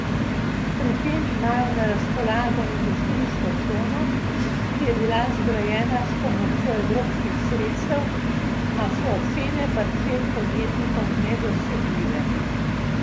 Pri tem imajo na razpolago industrijsko cono, ki je bila zgrajena s pomočjo evropskih sredstev, a so cene parcel podjetnikom nedosegljive.